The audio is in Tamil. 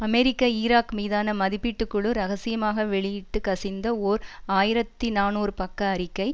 அமெரிக்க ஈராக் மீதான மதிப்பீட்டு குழு இரகசியமாக வெளியிட்டு கசிந்த ஓர் ஆயிரத்தி நாநூறு பக்க அறிக்கை